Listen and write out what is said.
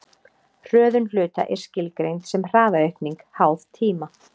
hröðun hluta er skilgreind sem hraðaaukning háð tíma